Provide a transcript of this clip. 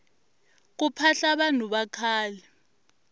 ku phahla vanhu vakhale